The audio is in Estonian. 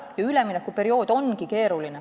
Ja üleminekuperiood ongi keeruline.